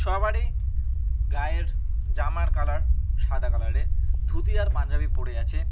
সবারই গায়ের জামার কালার সাদা কালারের ধুতি আর পাঞ্জাবি পড়ে আছে।